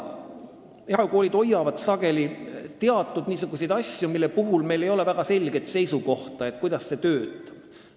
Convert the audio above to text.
Erakoolides on sageli alles teatud asju, mille kohta meil ei ole väga selgelt seisukohta, kuidas see töötab.